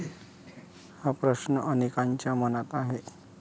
हा प्रश्न अनेकांच्या मनात आहे.